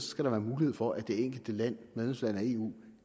skal være mulighed for at det enkelte medlemsland af eu